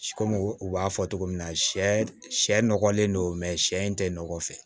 Komi u b'a fɔ cogo min na sɛ sɛ sɛ nɔgɔlen don sɛ in tɛ nɔgɔ fɛ